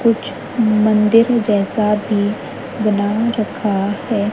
कुछ मंदिर जैसा भी बना रखा है।